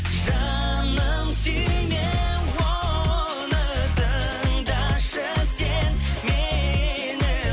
жаным сүйме оны тыңдашы сен мені